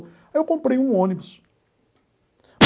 Aí eu comprei um ônibus.